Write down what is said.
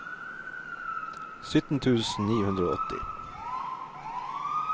sytten tusen ni hundre og åtti